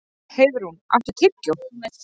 Heiðrún, áttu tyggjó?